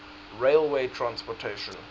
railway transportation